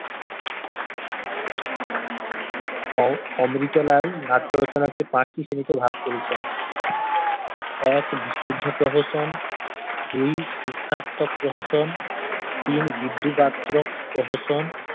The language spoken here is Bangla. উহ অমৃতলাল নাট্য রচনাকে পাঁচটি শ্রেণীতে ভাগ করেছেন এক বিশুদ্ধ প্রহসন দুই শিক্ষার্থক প্রহসন তিন বিদ্রুপাত্মক প্রহসন